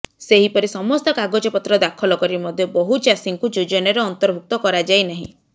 ସେହିପରି ସମସ୍ତ କାଗଜପତ୍ର ଦାଖଲ କରି ମଧ୍ୟ ବହୁ ଚାଷୀଙ୍କୁ ଯୋଜନାରେ ଅନ୍ତର୍ଭୁକ୍ତ କରାଯାଇନାହିଁ